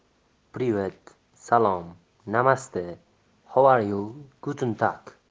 привет салом намасте хоу аре ю гутен тарк